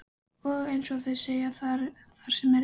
Og, eins og þeir segja: Þar sem er reykur.